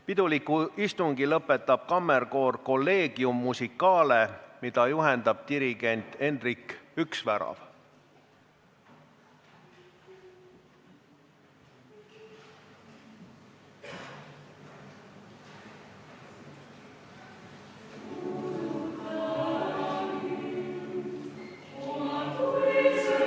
Piduliku istungi lõpetab kammerkoor Collegium Musicale, mida juhendab dirigent Endrik Üksvärav.